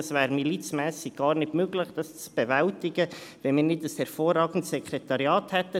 Es wäre gar nicht möglich, dies milizmässig zu bewältigen, wenn wir nicht ein hervorragendes Sekretariat hätten.